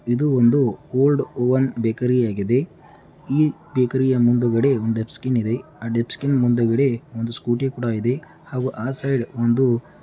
ಇದು ಒಂದು old oven bakery ಆಗಿದೆ. ಈ ಬೇಕರಿಯ ಮುಂದುಗಡೆ ಒಂದ್ ಡಸ್ಟ್ಬಿನ್ ಇದೆ. ಆ ಡಸ್ಟ್ಬಿನ್ ಮುಂದುಗಡೆ ಒಂದು ಸ್ಕೂಟಿ ಕೂಡ ಇದೆ ಹಾಗು ಆ ಸೈಡ್ ಒಂದು --